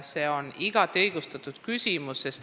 See on igati õigustatud küsimus.